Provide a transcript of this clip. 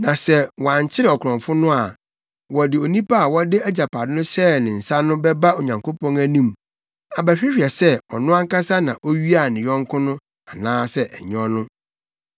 Na sɛ wɔankyere ɔkorɔmfo no a, wɔde onipa a wɔde agyapade no hyɛɛ ne nsa no bɛba Onyankopɔn anim abɛhwehwɛ sɛ ɔno ankasa na owiaa ne yɔnko no anaasɛ ɛnyɛ ɔno.